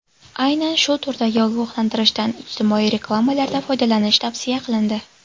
Aynan shu turdagi ogohlantirishdan ijtimoiy reklamalarda foydalanish tavsiya qilindi.